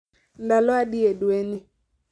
Ndalo adi e dwe ni